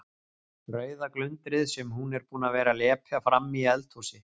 Rauða glundrið sem hún er búin að vera að lepja frammi í eldhúsi.